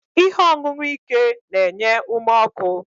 Ihe ọṅụṅụ ike na-enye ume ọkụ